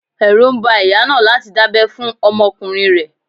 Ẹrú ń ba ìyá náà láti dábẹ́ fún ọmọkùnrin rẹ̀.